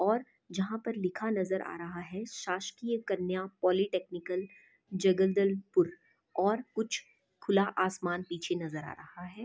और जहाँ पर लिखा नजर आ रहा है शासकीय कन्या पॉलीटेक्निकल जगदलपुर और कुछ खुला आसमान पीछे नजर आ रहा है ।